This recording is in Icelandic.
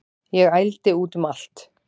Ég ældi út um allt